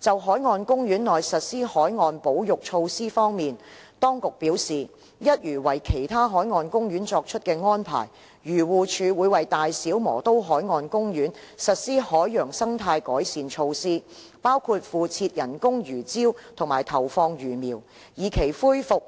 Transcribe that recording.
就海岸公園內實施海洋保育措施方面，當局表示，一如為其他海岸公園作出的安排，漁護署會為大小磨刀海岸公園實施海洋生態改善措施，包括敷設人工魚礁及投放魚苗，以期恢復